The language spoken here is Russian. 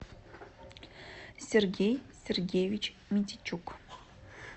сергей сергеевич митичук